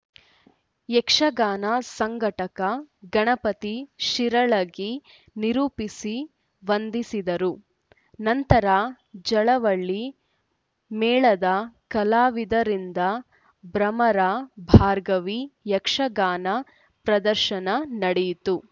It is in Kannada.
ಯಕ್ಷಗಾನ ಸಂಘಟಕ ಗಣಪತಿ ಶಿರಳಗಿ ನಿರೂಪಿಸಿ ವಂದಿಸಿದರು ನಂತರ ಜಲವಳ್ಳಿ ಮೇಳದ ಕಲಾವಿದರಿಂದ ಭ್ರಮರ ಭಾರ್ಗವಿ ಯಕ್ಷಗಾನ ಪ್ರದರ್ಶನ ನಡೆಯಿತು